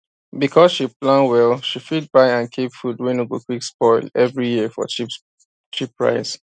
because she plan well she fit buy and keep food wey no go quick spoil every year for cheap price